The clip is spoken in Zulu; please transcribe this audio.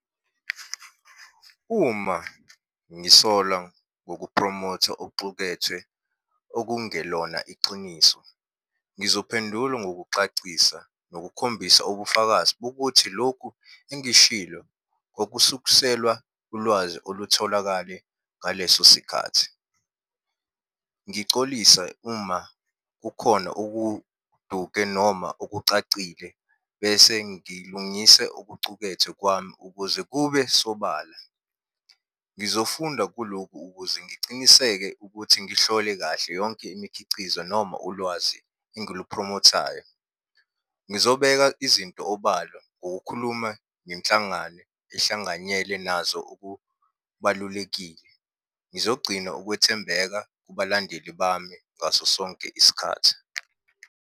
Uma ngisola ngokuphromotha okuxukethwe okungelona iqiniso, ngizophendula ngokucacisa ngokukhombisa ubufakazi bokuthi lokhu engishilo okusukselwa ulwazi olutholakale ngaleso sikhathi. Ngicolise uma kukhona okuduke noma okucacile, bese ngilungise okucukethwe kwami, ukuze kube sobala. Ngizofunda kulokhu ukuze ngiciniseke ukuthi ngihlole kahle yonke imikhicizo noma ulwazi engiliphromothayo. Ngizobeka izinto obala, ukukhuluma nenhlangano ehlanganyele nazo ukubalulekile. Ngizogcina ukwethembeka kubalandeli bami ngaso sonke isikhathi.